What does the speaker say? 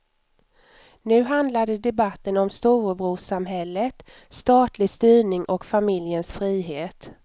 Nu handlade debatten om storebrorssamhället, statlig styrning och familjens frihet.